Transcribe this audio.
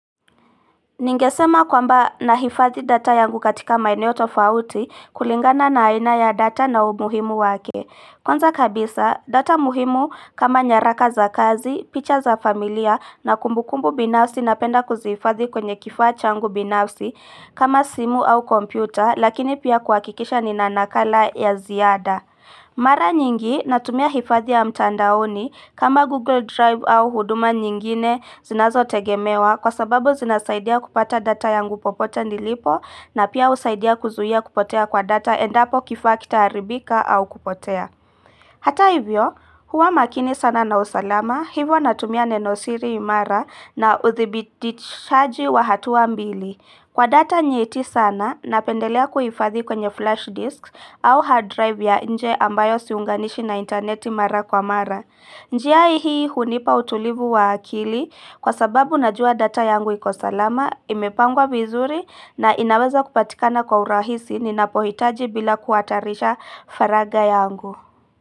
Ningesema kwamba nahifadhi data yangu katika maeneo tofauti kulingana na haina ya data na umuhimu wake. Kwaza kabisa, data muhimu kama nyaraka za kazi, picha za familia na kumbukumbu binafsi napenda kuzifadhi kwenye kifaa changu binafsi kama simu au kompyuta lakini pia kuwakikisha ni na nakala ya ziada. Mara nyingi natumia hifadhi ya mtandaoni kama Google Drive au huduma nyingine zinazo tegemewa kwa sababu zinasaidia kupata data yangu popote nilipo na pia usaidia kuzuhia kupotea kwa data endapo kifakita haribika au kupotea. Hata hivyo, huwa makini sana na usalama, hivyo natumia nenosiri imara na uthibitishaji wa hatuwa mbili. Kwa data nyeti sana, napendelea kuhifadhi kwenye flash disk au hard drive ya nje ambayo siunganishi na interneti mara kwa mara. Njia hii hunipa utulivu wa akili kwa sababu najua data yangu iko salama, imepangwa vizuri na inaweza kupatikana kwa urahisi ninapohitaji bila kuatarisha faraga yangu.